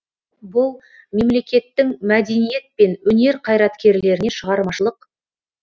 бұл мемлекеттің мәдениет пен өнер қайраткерлеріне шығармашылық